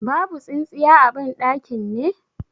Babu tsintsiya a ban ɗakin ne?